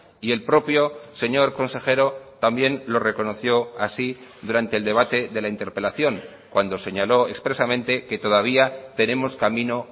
y el propio señor consejero también lo reconoció así durante el debate de la interpelación cuando señaló expresamente que todavía tenemos camino